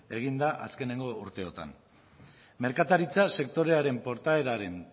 egin da azkeneko urteotan merkataritza sektorearen portaeraren